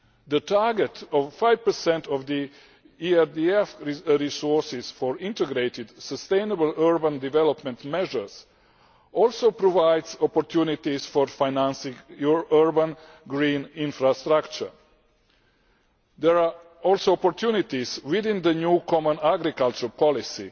The target of 5 of ERDF resources for ʻintegrated sustainable urban development measuresʼ also provides opportunities for financing urban green infrastructure. There are also opportunities within the new common agricultural policy,